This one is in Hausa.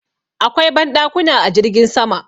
Akwai banɗakuna a jirgin sama.